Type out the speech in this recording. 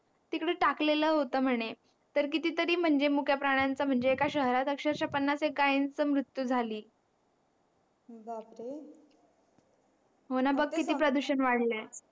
तिकडे टाकलेलं होत म्हणे तर किती तरी म्हणजे मुक्या प्राण्यांचा म्हणजे एका शहरात अक्षरशः पन्नास एक गायांचा मृत्यू झाली बापरे हो ना बघ ना किती प्रदूषण वाढलंय